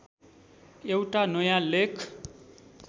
एउटा नयाँ लेख